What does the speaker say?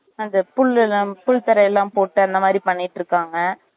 அந்த புள்ளலாம் புல் தரை எல்லாம் போட்டு அந்த மாறி பண்ணிட்டு இருக்காங்க